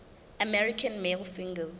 american male singers